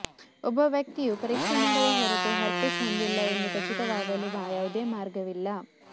ಒಬ್ಬ ವ್ಯಕ್ತಿಯು ಪರೀಕ್ಷೆ ಮಾಡದ ಹೊರತು ಹರ್ಪಿಸ್ ಹೊಂದಿಲ್ಲ ಎಂದು ಖಚಿತವಾಗಲು ಯಾವುದೇ ಮಾರ್ಗವಿಲ್ಲ